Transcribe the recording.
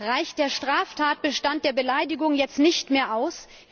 Reicht der Straftatbestand der Beleidigung jetzt nicht mehr aus?